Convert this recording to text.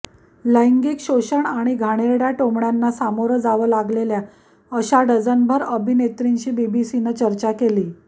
लैंगिक शोषण आणि घाणेरड्या टोमण्यांना सामोरं जावं लागलेल्या अशा डझनभर अभिनेत्रींशी बीबीसीनं चर्चा केली